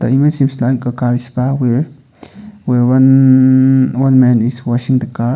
the image seems like a car where one one man is washing the car.